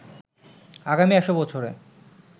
আগামী ১০০ বছরে